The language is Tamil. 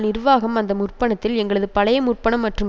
நிர்வாகம் அந்த முற்பணத்தில் எங்களது பழைய முற்பணம் மற்றும்